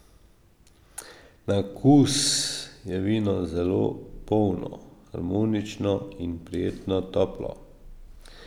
Na okus je vino zelo polno, harmonično in prijetno toplo.